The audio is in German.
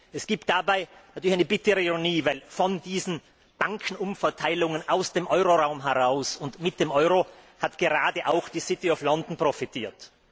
Es gibt dabei natürlich eine bittere Ironie, denn von diesen Bankenumverteilungen aus dem Euroraum heraus und mit dem Euro hat gerade auch die profitiert.